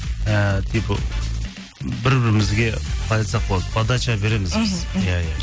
і тек бір бірімізге қалай айтсақ болады подача береміз біз мхм иә иә